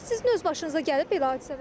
Bəs sizin öz başınıza gəlib belə hadisələr?